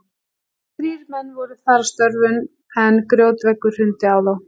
Þrír menn voru þar að störfum er grjótveggur hrundi á þá.